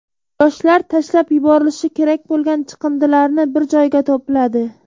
Yoshlar tashlab yuborilishi kerak bo‘lgan chiqindilarni bir joyga to‘pladi.